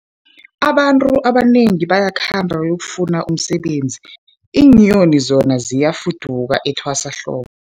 Abantu abanengi bayakhamba bayokufuna umsebenzi, iinyoni zona ziyafuduka etwasahlobo.